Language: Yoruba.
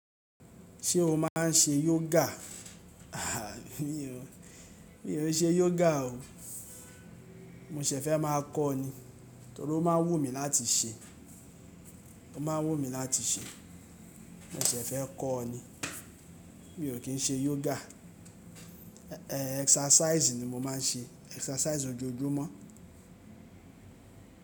Ṣé o máà ń ṣe yoga? Aà mí ò, mí ò ṣe yoga o. Mo ṣẹ̀ fẹ́ máa kọ́ ni, torí ó máa ń wù mí láti ṣe, ó ma ń wù mí láti ṣe. Mo ṣẹ̀ fẹ́ kọ́ ni. Mi ò kí ń ṣe yoga, exercise ni mo máa ń ṣe, exercise ojoojúmọ́.